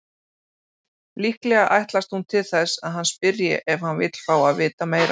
Líklega ætlast hún til þess að hann spyrji ef hann vill fá að vita meira.